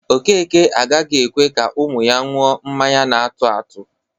Okeke agaghị ekwe ka ụmụ ya ṅụọ mmanya na-atụ atụ